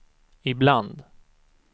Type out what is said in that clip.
ibland